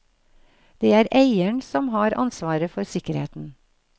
Det er eieren som har ansvaret for sikkerheten.